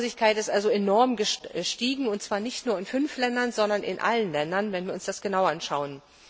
Die Arbeitslosigkeit ist enorm gestiegen, und zwar nicht nur in fünf Ländern, sondern in allen Ländern, wenn wir uns das genau anschauen.